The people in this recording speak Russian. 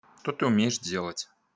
то ты умеешь делать